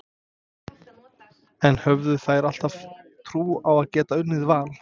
En höfðu þær alltaf trú á að geta unnið Val?